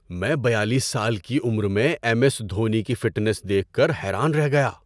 میں بیالیس سال کی عمر میں ایم ایس دھونی کی فٹنس دیکھ کر حیران رہ گیا۔